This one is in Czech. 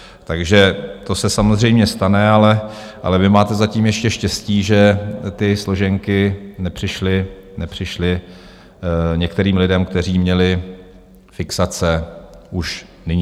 Takže to se samozřejmě stane, ale vy máte zatím ještě štěstí, že ty složenky nepřišly některým lidem, kteří měli fixace, už nyní.